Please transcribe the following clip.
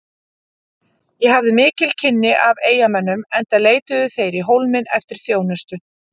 Ég hafði mikil kynni af eyjamönnum enda leituðu þeir í Hólminn eftir þjónustu.